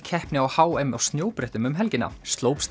keppni á h m á snjóbrettum um helgina